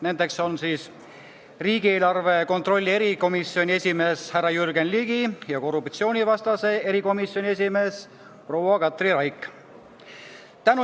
Nendeks on riigieelarve kontrolli erikomisjoni esimees härra Jürgen Ligi ja korruptsioonivastase erikomisjoni esimees proua Katri Raik.